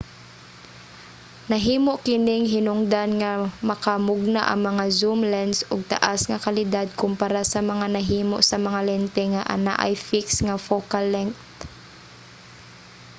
nahimo kining hinungdan nga makamugna ang mga zoom lense og taas nga kalidad kompara sa mga nahimo sa mga lente nga anaay fixed nga focal length